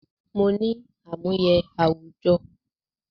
Mo ní àmúyẹ àwùjọ